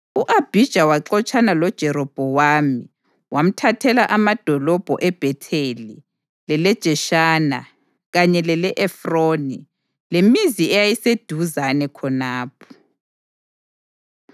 U-Abhija waxotshana loJerobhowamu wamthathela amadolobho eBhetheli, leleJeshana kanye lele-Efroni, lemizi eyayiseduzane khonapho.